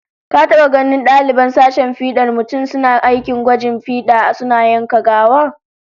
Ka taba ganin daliban sashen fidar mutum suna aikin gwajin fida suna yanka gawa?